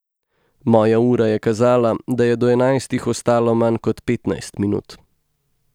Moja ura je kazala, da je do enajstih ostalo manj kot petnajst minut.